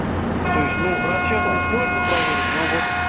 то есть ну расчётом этом можно проверить ну вот